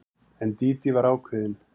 En Dídí var ákveðin.